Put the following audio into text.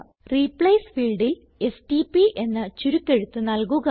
replace ഫീൽഡിൽ STP എന്ന ചുരുക്കെഴുത്ത് നല്കുക